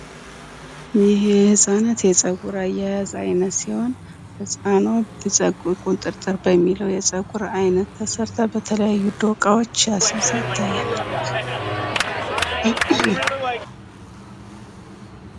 ይህ የ ህጻናት የጽጉር አያያዝ አይነት ሲሆን ፤ ህጻንዋ ቁጥርጥር በሚለው የጸጉር አይነት ተሰርታ በተለያዩ ዶቃዎችህ አሲዛ ይታየናል፡፡